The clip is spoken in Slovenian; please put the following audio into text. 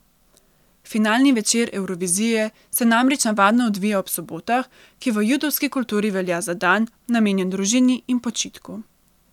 Finalni večer Evrovizije se namreč navadno odvija ob sobotah, ki v judovski kulturi velja za dan, namenjen družini in počitku.